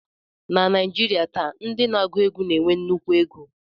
Na Naijiria taa, ndị na-agụ egwu na-enwe nnukwu ego